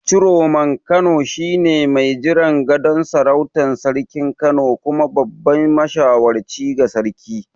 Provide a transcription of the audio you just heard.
Ciroman Kano shine mai jiran gadon sarautar Sarkin Kano kuma babban mashawarci ga sarki.